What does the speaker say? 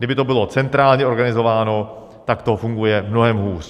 Kdyby to bylo centrálně organizováno, tak to funguje mnohem hůř.